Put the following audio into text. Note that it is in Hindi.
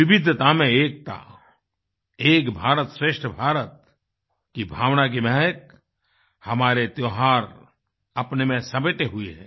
विविधता में एकता एक भारतश्रेष्ठ भारत की भावना की महक हमारे त्योहार अपने में समेटे हुए हैं